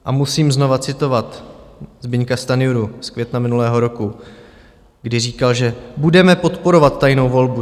A musím znovu citovat Zbyňka Stanjuru z května minulého roku, kdy říkal, že budeme podporovat tajnou volbu.